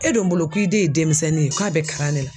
E dun bolo k'i de ye demisɛnnin ye k'a bɛ kalan nɛ la